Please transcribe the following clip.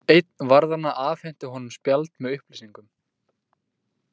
Einn varðanna afhenti honum spjald með upplýsingum.